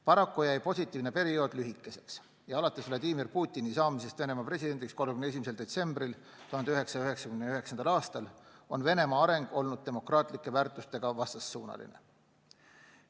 Paraku jäi positiivne periood lühikeseks ja alates Vladimir Putini saamisest Venemaa presidendiks 31. detsembril 1999. aastal on Venemaa areng olnud demokraatlike väärtustega vastassuunaline.